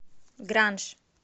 гранж